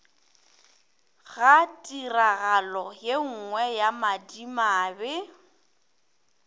ga tiragalo yenngwe ya madimabe